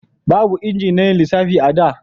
Babu inji na yin lissafi a da